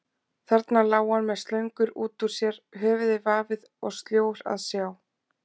Þarna lá hann með slöngur út úr sér, höfuðið vafið og sljór að sjá.